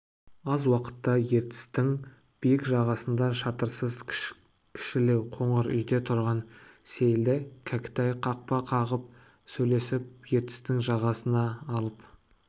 аз уақытта ертістің биік жағасында шатырсыз кішілеу қоңыр үйде тұрған сейілді кәкітай қақпа қағып сөйлесіп ертістің жағасына алып